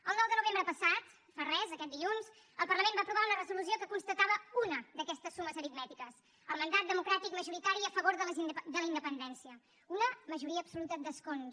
el nou de novembre passat fa res aquest dilluns el parlament va aprovar una resolució que constatava una d’aquestes sumes aritmètiques el mandat democràtic majoritari a favor de la independència una majoria absoluta d’escons